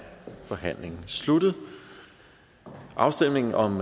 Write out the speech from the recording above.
forhandlingen sluttet afstemning om